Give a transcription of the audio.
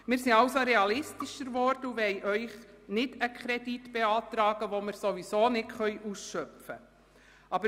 Wir sind also realistischer geworden und wollen Ihnen keinen Kredit beantragen, den wir ohnehin nicht ausschöpfen können.